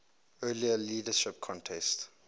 earlier leadership contest